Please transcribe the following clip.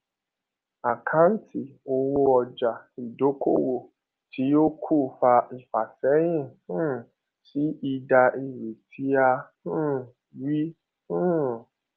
àkáǹtì owó ọjà ìdókòwò tí ó kù fa ìfàséyìn um sí èdà èrè tí a um rí um